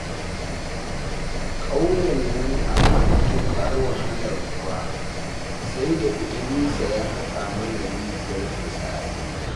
Ƙauyen nan ana matuƙar wahalar ruwa, sai da Idirisa ya haƙa mana rijiyar burtsatse